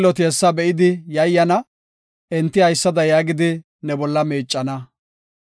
Xilloti hessa be7idi yayyana; enti haysada yaagidi, ne bolla miicana;